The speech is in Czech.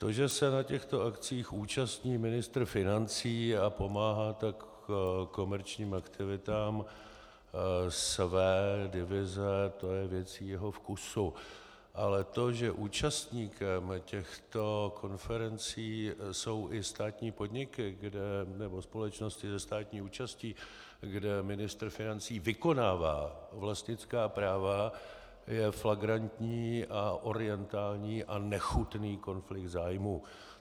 To, že se na těchto akcích účastní ministr financí a pomáhá tak komerčním aktivitám své divize, to je věcí jeho vkusu, ale to, že účastníkem těchto konferencí jsou i státní podniky nebo společnosti se státní účastí, kde ministr financí vykonává vlastnická práva, je flagrantní a orientální a nechutný konflikt zájmů.